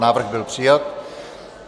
Návrh byl přijat.